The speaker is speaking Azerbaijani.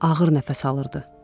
Ağır nəfəs alırdı.